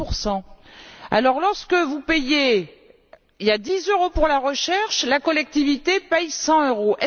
10 Lorsque vous payez 10 euros pour la recherche, la collectivité paie 100 euros.